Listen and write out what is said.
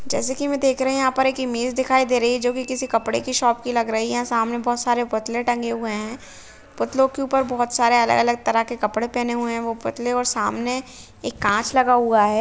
जैसे कि में देख रही हूँ यहाँ पर एक इमेज दिखाई दे रही है जो कि किसी कपड़े की शॉप की लग रही है सामने बहुत सारे पुतले टंगे हुए हैं पुतलों के ऊपर बहुत सारे अलग-अलग तरह के कपड़े पहने हुए हैं वो पुतले और सामने एक काँच लगा हुआ है।